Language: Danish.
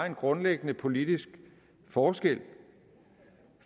en grundlæggende politisk forskel